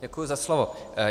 Děkuji za slovo.